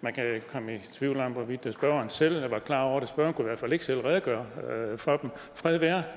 man kan komme i tvivl om hvorvidt spørgeren selv var klar over det spørgeren hvert fald ikke selv redegøre for dem fred være